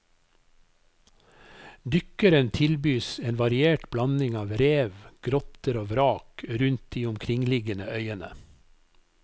Dykkeren tilbys en variert blanding av rev, grotter og vrak rundt de omkringliggende øyene.